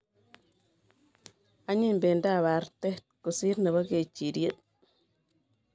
Anyiny bendab arte kosir nebo kechirie